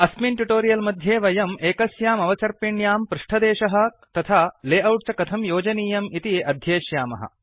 अस्मिन् ट्युटोरियल् मध्ये वयम् एकस्याम् अवसर्पिण्यां पृष्ठदेशः तथा लेऔट् च कथं योजनीयम् इति अध्येष्यामः